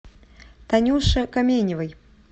танюше каменевой